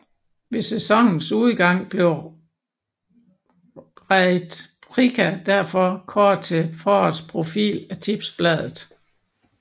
Ved sæsonens udgang blev Rade Prica derfor kåret til forårets profil af Tipsbladet